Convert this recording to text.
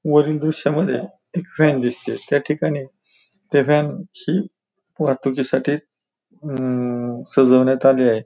वरील दृश्यामध्ये एक व्हॅन दिसतीये त्या ठिकाणी त्या व्हॅन ची वाहतुकीसाठी अं सजवण्यात आली आहे.